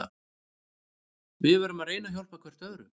Við verðum að reyna að hjálpa hver öðrum.